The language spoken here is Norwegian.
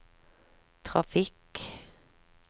trafikk